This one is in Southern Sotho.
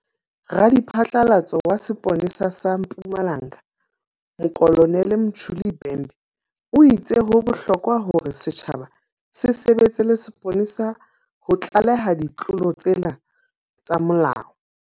Radiphatlalatso wa sepole sa sa Mpumalanga Mokolo nele Mtsholi Bhembe o itse ho bohlokwa hore setjhaba se sebetse le sepolesa ho tlaleha ditlolo tsena tsa molao.